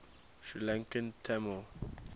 sri lankan tamil